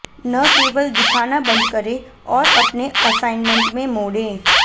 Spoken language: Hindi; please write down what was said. न केवल दिखाना बंद करें और अपने असाइनमेंट में मोड़ें